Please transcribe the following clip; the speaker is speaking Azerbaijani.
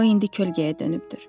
O indi kölgəyə dönübdür.